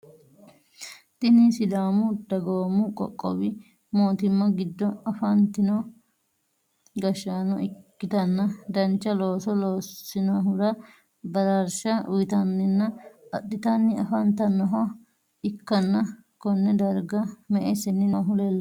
Tinni sidaamu dagoomu qoqqowi mootimma gido afatinno gashaano ikitanna dancha looso loosinohura baraarsha uyitanninna adhitanni afantanoha ikanna konne darga me"e seenni noohu leelano?